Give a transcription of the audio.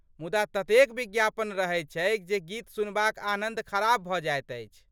मुदा ततेक विज्ञापन रहैत छैक जे गीत सुनबाक आनन्द खराब भऽ जाइत अछि।